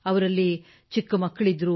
ಅವರಲ್ಲಿ ಚಿಕ್ಕ ಮಕ್ಕಳಿದ್ದರು